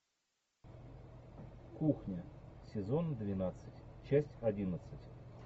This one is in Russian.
кухня сезон двенадцать часть одиннадцать